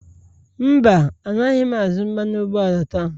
Mba, Anaghị m azụ mmanụ ụgbọala taa